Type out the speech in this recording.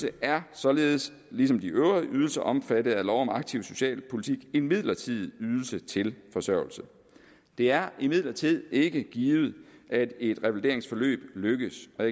er således ligesom de øvrige ydelser omfattet af lov om aktiv socialpolitik en midlertidig ydelse til forsørgelse det er imidlertid ikke givet at et revalideringsforløb lykkes og